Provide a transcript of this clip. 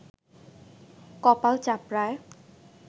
কপাল চাপড়ায়